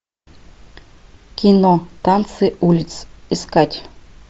кино танцы улиц искать